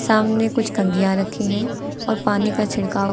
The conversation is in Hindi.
सामने कुछ कंघियां रखी हैं और पानी का छिड़काव--